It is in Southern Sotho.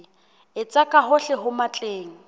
etsa ka hohle ho matleng